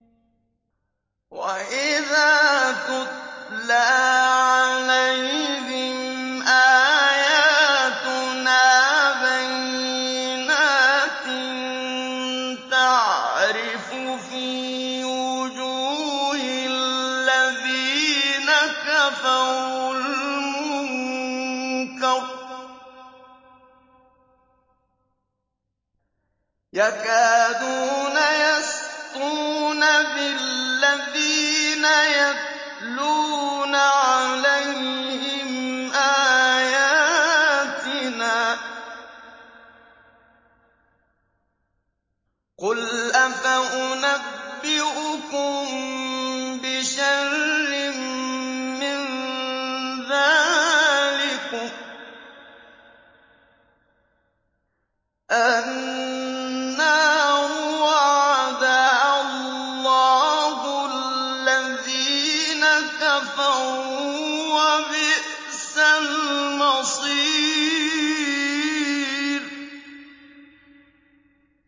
وَإِذَا تُتْلَىٰ عَلَيْهِمْ آيَاتُنَا بَيِّنَاتٍ تَعْرِفُ فِي وُجُوهِ الَّذِينَ كَفَرُوا الْمُنكَرَ ۖ يَكَادُونَ يَسْطُونَ بِالَّذِينَ يَتْلُونَ عَلَيْهِمْ آيَاتِنَا ۗ قُلْ أَفَأُنَبِّئُكُم بِشَرٍّ مِّن ذَٰلِكُمُ ۗ النَّارُ وَعَدَهَا اللَّهُ الَّذِينَ كَفَرُوا ۖ وَبِئْسَ الْمَصِيرُ